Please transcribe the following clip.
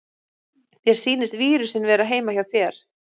Mér sýnist vírusinn vera heima hjá þér.